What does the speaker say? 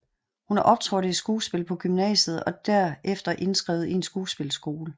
Hun optrådte i skuespil på gymnasiet og derefter indskrevet i en skuespilleskole